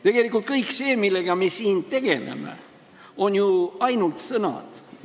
Tegelikult on kõik see, millega me siin tegeleme, ju ainult sõnad.